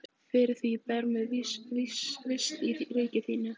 Fyrir því ber mér vist í ríki þínu.